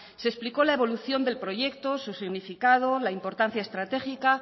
se explicó la evolución del proyecto su significado la importancia estratégica